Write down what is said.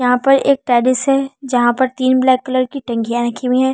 यहां पर एक टेरिस है जहां पर तीन ब्लैक कलर की टंकियां रखी हुई है।